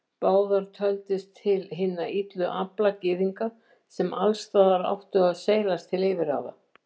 Báðar töldust til hinna illu afla Gyðinga, sem alls staðar áttu að seilast til yfirráða.